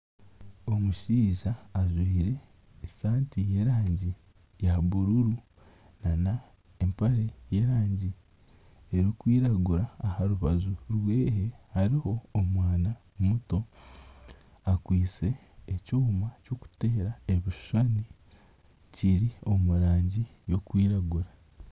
Omushaija ajwaire esaati y'erangi ya bururu n'empare y'erangi erikwiragura aha rubaju rweye hariho omwana muto akwaitse ekyoma ky'okuteera ebishushani kiri omu rangi y'okwiragura.